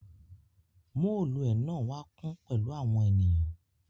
Mooluẹ náà wa kun pẹlu awọn ènìyàn.